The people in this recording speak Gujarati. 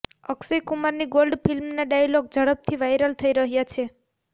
અક્ષય કુમારની ગોલ્ડ ફિલ્મના ડાયલોગ ઝડપથી વાઈરલ થઈ રહ્યા છે